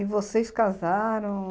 E vocês casaram...?